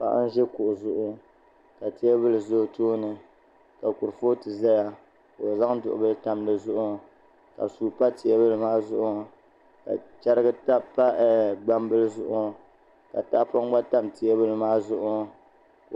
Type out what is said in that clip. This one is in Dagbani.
Paɣa n ʒi kuɣu zuɣu ka teebuli ʒɛ o tooni ka kurifooti ʒɛya ka i zaŋ duɣu bili tam di zuɣu ka suu pa teebuli maa zuɣu ka chɛrigi pa gbambili zuɣu ka tahapoŋ gba tam teebuli maa zuɣu